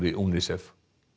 UNICEF